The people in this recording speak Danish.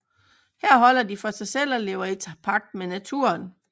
Her holder de sig for sig selv og lever i tæt pagt med naturen